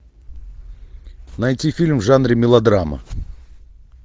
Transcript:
найти фильм в жанре мелодрама